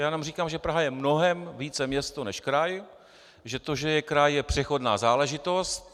Já jenom říkám, že Praha je mnohem více město než kraj, že to, že je kraj, je přechodná záležitost.